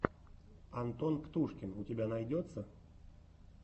антон птушкин у тебя найдется